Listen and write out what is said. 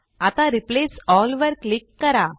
आता replace all वर click करा